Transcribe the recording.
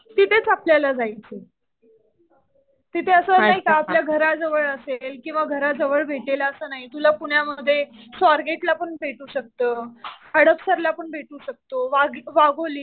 तिथेच आपल्याला जायचं. तिथे असं नाही का आपल्या घर जवळ असेल किंवा घर जवळ भेटेल असं नाही. तुला पुण्यामध्ये स्वारगेटला पण भेटू शकतं. हडपसरला पण भेटू शकतं. वाघोली